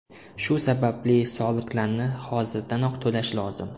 Shu sababli soliqlarni hozirdanoq to‘lash lozim.